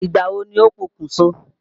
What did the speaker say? Ìgbà wo ni ó pokùn so?